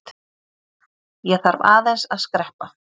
Ég þarf aðeins að skreppa.